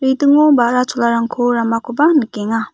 redingo balra cholarangko ramakoba nikenga.